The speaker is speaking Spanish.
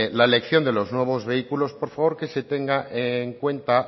la elección de los nuevos vehículos por favor que se tenga en cuenta